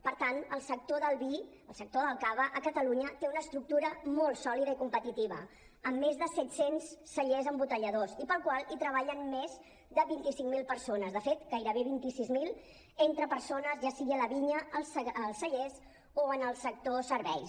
per tant el sector del vi el sector del cava a catalunya té una estructura molt sòlida i competitiva amb més de set cents cellers embotelladors i per al qual treballen més de vint cinc mil persones de fet gairebé vint sis mil entre persones ja sigui a la vinya als cellers o en el sector serveis